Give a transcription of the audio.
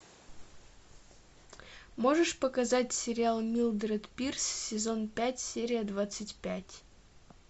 можешь показать сериал милдред пирс сезон пять серия двадцать пять